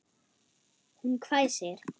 Hún hvæsir.